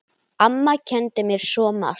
Amma kenndi mér svo margt.